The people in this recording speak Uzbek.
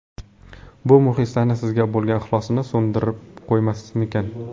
Bu muxlislarni sizga bo‘lgan ixlosini so‘ndirib qo‘ymasmikan?